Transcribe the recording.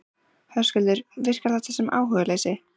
Höskuldur: Virkar þetta sem áhugaleysi?